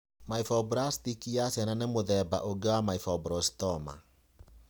Myofibroblastic ya ciana nĩ mũthemba ũngĩ wa Myopericytoma.